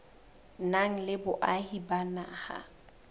nang le boahi ba naha